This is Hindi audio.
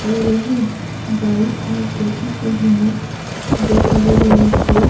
पर वहीं बाईं ओर देखे तो हमें दो बड़े-बड़े से --